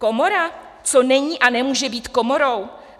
Komora, co není a nemůže být komorou?